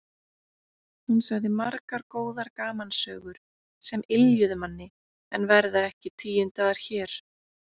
Hún sagði margar góðar gamansögur sem yljuðu manni en verða ekki tíundaðar hér.